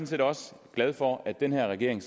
set også glad for at den her regering